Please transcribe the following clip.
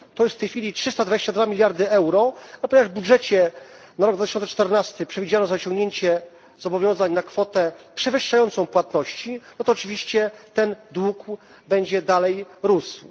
To są w tej chwili 322 miliardy euro, a ponieważ w budżecie na rok 2014 przewidziano zaciągnięcie zobowiązań na kwotę przewyższającą płatności, to oczywiście ten dług będzie dalej rósł.